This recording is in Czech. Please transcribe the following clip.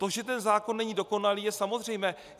To, že ten zákon není dokonalý, je samozřejmé.